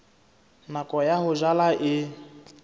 nako ya ho jala e